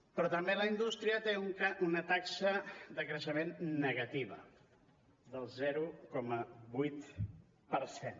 però també la indústria té una taxa de creixement negativa del zero coma vuit per cent